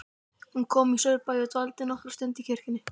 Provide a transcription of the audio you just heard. Hún kom í Saurbæ og dvaldi nokkra stund í kirkjunni.